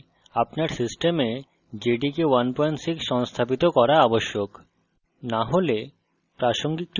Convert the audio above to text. এই tutorial অনুসরণ করতে আপনার system jdk 16 সংস্থাপিত করা আবশ্যক